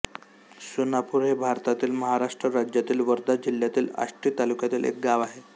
सोनापूर हे भारतातील महाराष्ट्र राज्यातील वर्धा जिल्ह्यातील आष्टी तालुक्यातील एक गाव आहे